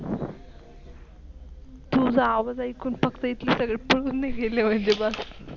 तुझ आवाज आयेकून फक्त इतले सगळे पळून नाही गेले पाहिजे बस.